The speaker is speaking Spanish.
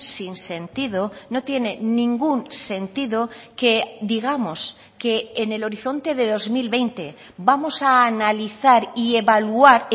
sinsentido no tiene ningún sentido que digamos que en el horizonte de dos mil veinte vamos a analizar y evaluar